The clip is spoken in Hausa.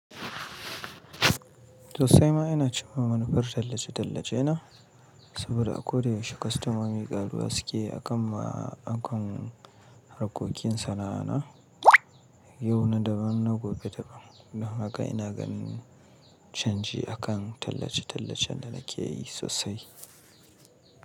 Sosai ma ina cimma manufar tallace-tallace na, saboda a koda yaushe kostomomi karuwa suke akan ma'aikan harkokin sana'ana, yau na daban na gobe daban. Don haka ina ganin canji akan tallace-tallacen da nake yi sosai.